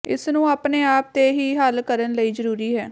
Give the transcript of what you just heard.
ਇਸ ਨੂੰ ਆਪਣੇ ਆਪ ਤੇ ਹੀ ਹੱਲ ਕਰਨ ਲਈ ਜ਼ਰੂਰੀ ਹੈ